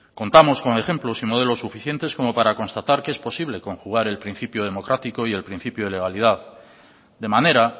contamos con ejemplos y modelos suficientes como para constatar que es posible conjugar el principio democrático y el principio de legalidad de manera